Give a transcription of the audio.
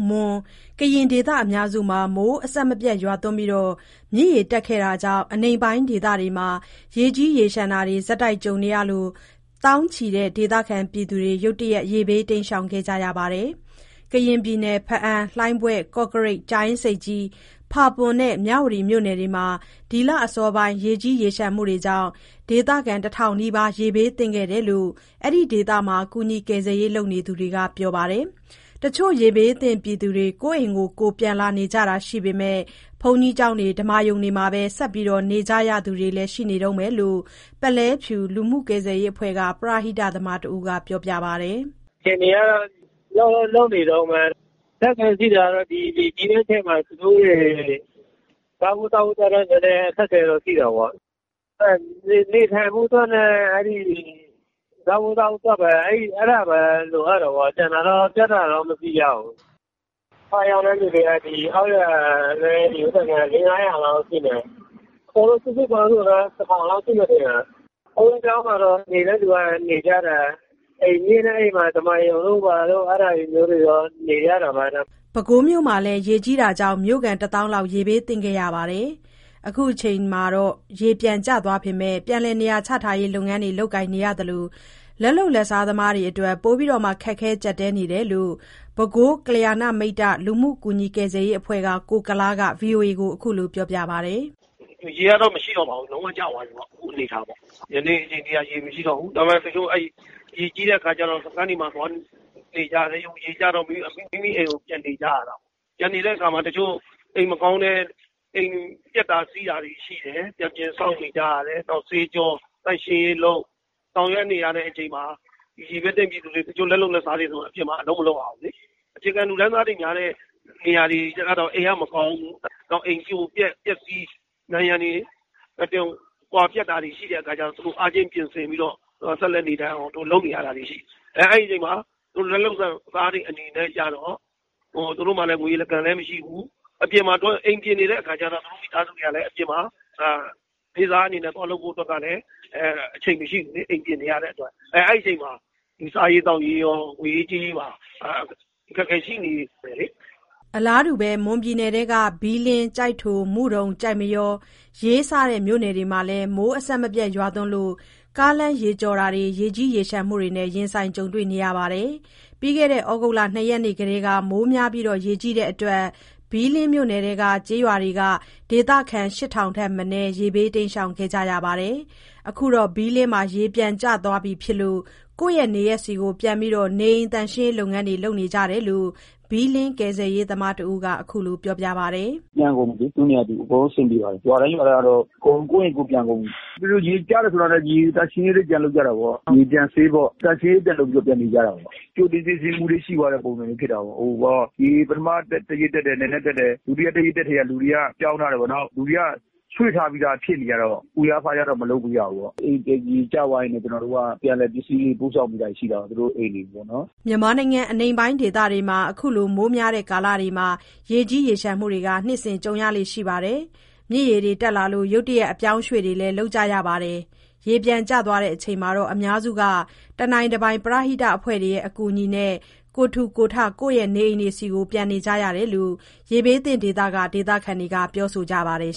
မွန်၊ ကရင်ဒေသအများစုမှာ မိုးအဆက်မပြတ်ရွာပြီး မြစ်ရေတက်ခဲ့တာကြောင့် အနိမ့်ပိုင်းဒေသမှာ ရေကြီးရေလျှံတာတွေ ဆက်တိုက်ကြုံနေရလို့ သောင်းနဲ့ချီတဲ့ ဒေသခံတွေ ရုတ်တရက် ရေဘေးတိမ်းရှောင်ခဲ့ကြရပါတယ်။ ကရင်ပြည်နယ် ဘားအံ၊ လှိုင်းဘွဲ့၊ ကော့ကရိတ်၊ ကြာအင်းဆိပ်ကြီး၊ ဖာပွန်နဲ့ မြဝတီ မြို့နယ်တွေမှာ ဒီလအစော ပိုင်း ရေကြီးရေလျှံမှုတွေကြောင့် ဒေသခံ ၁,၀၀၀ နီးပါး ရေဘေးသင့်ခဲ့တယ်လို့ အဲဒီဒေသက ကူညီကယ်ဆယ်ရေး လုပ်သူတွေကပြောပါတယ်။ တချို့ ရေဘေးသင့် ပြည်သူတွေ ကိုယ့်နေအိမ်ကိုယ် ပြန်လာနေကြတာရှိပေမဲ့ ဘုန်းကြီးကျောင်းတွေ၊ ဓမ္မာရုံတွေမှာ ဆက် နေနေကြရတဲ့သူတွေလည်း ရှိနေတုန်းပဲလို့ ပုလဲဖြူလူမှု ကယ်ဆယ်ရေး အဖွဲ့က ပရဟိတသမားတဦးက ပြောပါတယ်။ “အခြေအနေကတော့ လုပ်နေတုန်းပဲ။ အခက်အခဲကတော့ သူတို့တွေ စားဖို့သောက်ဖို့ အခက်အခဲ ရှိတာပေါ့။ နေထိုင်ဖို့ရယ်၊ စားဖို့သောက်ဖို့ရယ်။ အဲ့ဒီ အခက်အခဲတွေ ကြုံနေရတာပေါ့။ ကျန်တာ ပြဿနာတော့မရှိကြဘူး။ ဒုက္ခရောက်သူတွေက အောက်ရွာနဲ့ အနီးနားက လေး ငါးရာ လောက် ရှိမယ်။ စုစုပေါင်း ဆို ၁,၀၀၀ လောက်ရှိမယ် ထင်တယ်။ ဘုန်းကြီးကျောင်းမှာ နေတဲ့သူက နေတယ်။ အိမ်နဲ့နီးတဲ့ ဓမ္မာရုံမှာ နေတဲ့သူကနေကြတယ်။” ပဲခူးမြို့မှာလည်း ရေကြီးမှုကြောင့် မြို့ခံ တသောင်းလောက် ရေဘေးသင့်ခဲ့ရတာပါ။ ခုချိန် ရေပြန်ကျနေပေမဲ့ ပြန်လည် နေရာချထားရေး လုပ်ငန်းတွေ လုပ်ကိုင်နေရသလို လက်လုပ် လက်စားတွေအတွက် ပိုမို ခက်ခဲ ကျပ်တည်းနေရတယ်လို့ ပဲခူး ကလျာဏမိတ္တ လူမှုကူညီ ကယ်ဆယ်ရေး အဖွဲ့က ကိုကုလား က ဗွီအိုအေကို ခုလို ပြောပါတယ်။ “ရေကတော့ မရှိတော့ပါဘူး။ လုံးဝကျသွားပြီပေါ့။ အခုချိန်မှာ ဒီနေ့ဒီချိန် ရေမရှိတော့ဘူး။ ဒါပေမဲ့ ရေကြီးတုန်းက စခန်းတွေမှာ သွားနေရတယ်။ ရေကျတော့ မိမိအိမ် သွားနေကြရတယ်။ ပြန်နေချိန်မှာ အိမ်မကောင်းလို့ ပျက်တာ စီးတာတွေ၊ ပျက်တာစီးတာ ဆေးကြော ဆောင်ရွက်နေကြရတဲ့ အချိန်မှာ ရေဘေးသင့်ပြည်သူ လက်လုတ်လက်စားဆို အပြင်မှာ အလုပ်မလုပ်ရဘူး။ အခြေခံ လူတန်းစားများတဲ့ နေရာတွေကျတော့ အိမ်က မကောင်းဘူး။ အိမ် ပြိုပျက်၊ ပျက်စီးနံရံတွေ ကွာ၊ ဒါတွေ ရှိတယ်။ အဲ့တော့ urgent ချက်ချင်း ပြင်ဆင်လုပ်နေရတာ ရှိတယ်။ အဲ့ဒီအချိန် လက်လုပ် လက်စားတွေအနေနဲ့ ကျတော့ သူတို့မှာ ငွေခံမရှိဘူး။ အိမ်ပြင်နေတော့ သူတို့ အိမ်သားတွေက နေ့စားအနေနဲ့ သွားလုပ်ဖို့ အချိန်မရှိဘူးလေ။ အဲ့ချိန်မှာ စားရေးသောက်ရေး ငွေရေးကြေးရေးပါ အခက်အခဲတွေ ကြုံနေရတာပေါ့။” အလားတူ မွန်ပြည်နယ်ထဲက ဘီးလင်း၊ ကျိုက်ထို၊ မုဒုံ၊ ကျိုက်မရော၊ ရေး စတဲ့ မြို့နယ်တွေမှာလည်း မိုးအဆက်မပြတ် ရွာသွန်းလို့ ကားလမ်း ရေကျော်တာတွေ ရေကြီးရေလျှံမှုတွေနဲ့ ရင်ဆိုင်ကြုံတွေ့ခဲ့ရပါတယ်။ ပြီးခဲ့တဲ့ သြဂုတ် ၂ ရက်နေ့ကတည်းက မိုးများပြီး ရေကြီးလို့ ဘီးလင်းမြို့နယ်တွင်း ကျေးရွာတွေက ဒေသခံ ၈ ထောင်ထက်မနည်း ရေဘေး တိမ်းရှောင်ခဲ့ ကြရပါတယ်။ အခုတော့ ဘီးလင်းမှာ ရေပြန်ကျသွားပြီဖြစ်လို့ ကိုယ့်နေရပ်ဆီကို ပြန်ပြီး နေအိမ်သန့်ရှင်းရေး လုပ်ငန်းတွေ လုပ်နေကြပြီလို့ ဘီးလင်း ကယ်ဆယ်ရေး သမားတဦးက ခုလို ပြောပါတယ်။ “ပြန်ကုန်ပြီလေ။ သူ့နေရာနဲ့သူ အကုန်လုံး အဆင်ပြေပါတယ်။ ရွာတိုင်းရွာတိုင်းတော့ အကုန် ကိုယ့်အိမ်ကိုယ်ပြန်ကုန်ပြီ။ သူတို့ နေကျပြီး ဆိုတာနဲ့ ရေသန့်ရှင်းရေးပြန်လုပ်ကြတာပေါ့၊ ရေပြန်ဆေးပေါ့ သန့်ရှင်းရေးပြန်လုပ်ပြီးတော့ ပြန်နေကြတာပေါ့။ ကြိုတင်ပြင်ဆင်မှု ရှိသွားတဲ့ ပုံစံမျိုး ဖြစ်တာပေါ့၊ ရေ ပထမ တရက် တက်တယ်။ နည်းနည်းတက်တယ်။ တတိယ တရက်တက်တာနဲ့ လူတွေ ပြောင်းထားတယ်ပေါ့။ လူတွေက ရွှေ့ထားဖြစ်တော့ အခက်အခဲ မဖြစ်ဘူး။ အိမ် ပြန် ရေကျသွားရင် ကျနော်တို့က ပြန်လည် ပစ္စည်းတွေ ပို့ဆောင်ပေးတာ ရှိတယ်တာပေါ့။ သူတို့အိမ်တွေ ပေါ့နော်။” မြန်မာနိုင်ငံ အနိမ့်ပိုင်းဒေသတွေမှာ ခုလို မိုးများတဲ့ ကာလတွေမှာ ရေကြီးရေလျှံတာတွေ နှစ်စဉ် ကြုံရလေ့ရှိပါတယ်။ မြစ်ရေတွေ တက်လာလို့ ရုတ်တရက် အပြောင်းအရွေ့တွေလည်း လုပ်ကြရတာပါ။ ရေပြန်ကျချိန်မှာလည်း အများစုက တနိုင်တပိုင် ပရဟိတအဖွဲ့တွေရဲ့ အကူအညီနဲ့ ကိုယ်ထူကိုယ်ထ ကိုယ့်နေအိမ်ဆီ ပြန်ကြရတယ်လို့ ရေဘေးသင့်နေရာတွေက ဒေသခံတွေက ပြောဆိုကြပါတယ်